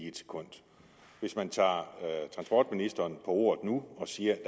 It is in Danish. et sekund hvis man tager transportministeren ordet nu og siger at